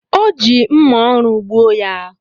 Ọ ji mma oru gbuo ya